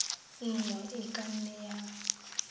nngwe e ka nne ya